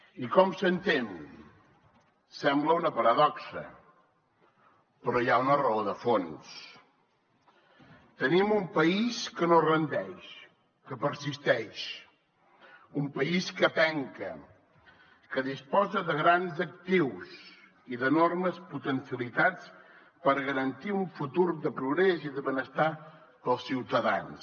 i com s’entén sembla una paradoxa però hi ha una raó de fons tenim un país que no es rendeix que persisteix un país que penca que disposa de grans actius i d’enormes potencialitats per garantir un futur de progrés i de benestar per als ciutadans